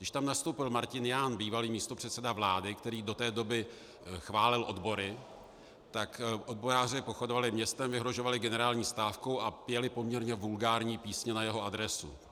Když tam nastoupil Martin Jahn, bývalý místopředseda vlády, který do té doby chválil odbory, tak odboráři pochodovali městem, vyhrožovali generální stávkou a pěli poměrně vulgární písně na jeho adresu.